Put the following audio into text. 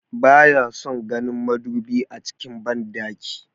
Ba ya son ganin madubi a cikin banɗaki